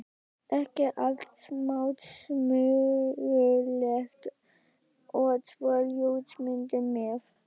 ekki of smásmugulegt- og svo ljósmyndir með.